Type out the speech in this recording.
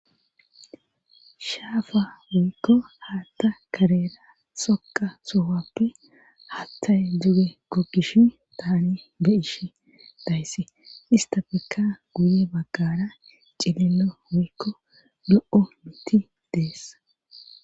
shaafa woykko haatta karera xoqa suhappe hatthay duge gokkishin tani be ishi dayssi istafeka guye baggara cilelo woykko lo7o miti dees